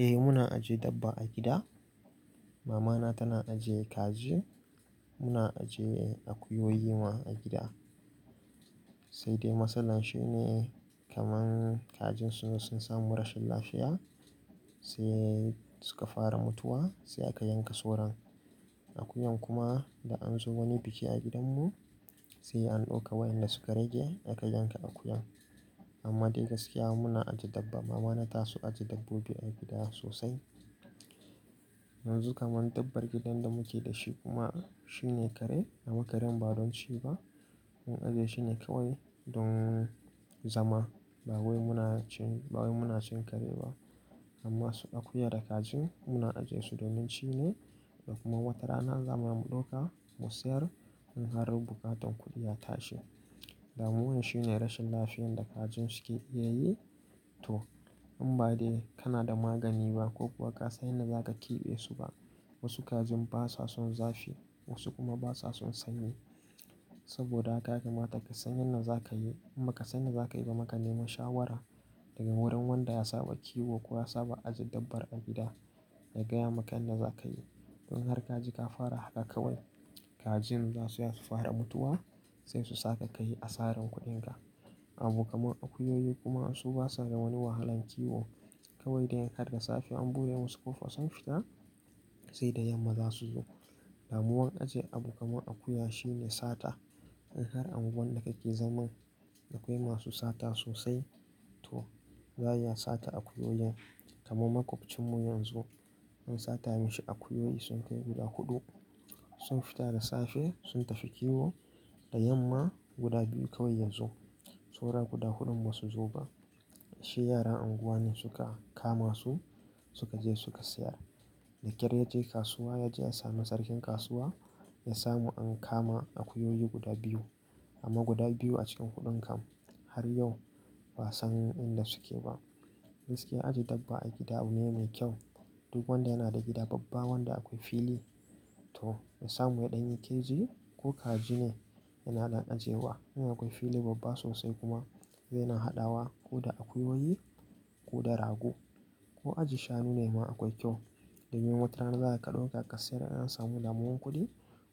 Eh muna ajiye dabba a gida. Mama na tana ajiye kaji. Muna ajiye akuyoyi ma a gida. Sai dai matsalar shi ne kaman kajin sun samu rashin lafiya sai suka fara mutuwa sai aka yanka sauran. Akuyan kuma da an zo wani biki a gidan mu sai an ɗauka waƴanda suka rage aka yanka akuyan. Amma dai gaskiya muna ajiye dabba. Mama na ta su ajiye dabbobi a gida sosai. Yanzu kaman dabbar gidan da muke da shi kuma shi ne kare amma karen ba don ci ba. Mun ajiye shi ne kawai don zama ba wai muna cin kare ba. Amma su akuyan da kajin muna ajiye su domin ci ne. Kuma watarana zamu iya mu ɗauka mu sayar in har bukatar kuɗi ya tashi. Damuwan shi ne rashin lafiyan da kajin suke iya yi to in ba dai kana da magani ba ko kuwa kasa yanda zaka kiɓe su ba. Wasu kajin basa son zafi wasu kuma basa son sanyi. Saboda haka mata kasa yanda zaka yi amba kasani yanda zaka yi bama ka nema shawara daga wurin wanda ya saba kiwo ko ya saba ajiye dabbar a gida ya gaya maka yanda za ka yi. Don in har kaji ka fara haka kawai kajin za su iya su fara mutuwa sai su saka ka yi asarar kuɗin ka. Abu kaman akuyoyi kuma su basa da wani wahalan kiwo kawai dai in har da safiya an bude masu kofa sun fita sai da yamma zasu zo. Lamuwan ajiye abu kaman akuya shi ne sata. In har angu lwan da ka ke zaman dakwai masu sata sosai to za iya sata akuyoyin. Kaman makwabcin mu yanzu an sata minshi akuyoyi sun kai guda huɗu. Sun fita da safe sun tafi kiwo da yamma guda biyu kawai yanzu. Saura guda huɗun ba su zo ba. Shi yara anguwa ne suka kama su suka je suka sayar. Da ƙyar ya je kasuwa ya je ya sami sarkin kasuwa ya samu an kama akuyoyi guda biyu amma guda biyu a cikin huɗun kam har yau ba san inda suke ba. Gaskiya ajiye dabba a gida abu ne mai kyau. Duk wanda yana da gida babba wanda akwai fili to ya samu ya ɗanyi keji ko kaji ne yana dan aje wa. In akwai fili babba sosai kuma zai na haɗawa ko da akuyoyi ko da rago ko ajiye shanu nema akwai kyau. Domin watarana za ka ɗauka ka sayar in an samu lamuwan kuɗi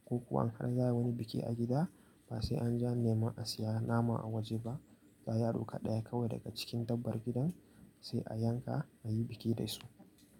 ko kuwa in har za ayi wani biki a gida ba sai an je nema a siya nama a waje ba. Za ya ɗauka ɗaya kawai daga cikin dabbar gidan sai a yanka a yi biki da su.